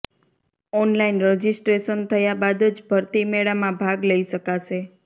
online registration થયા બાદ જ ભરતી મેળામાં ભાગ લઈ શકાશે